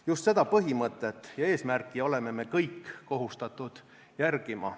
Just seda põhimõtet ja eesmärki oleme me kõik kohustatud järgima.